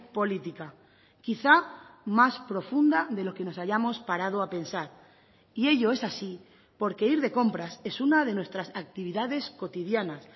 política quizá más profunda de lo que nos hayamos parado a pensar y ello es así porque ir de compras es una de nuestras actividades cotidianas